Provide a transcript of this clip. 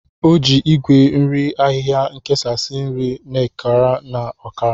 O ji Igwe nri ahịhịa ekesasị nri na ọkara na ọkara.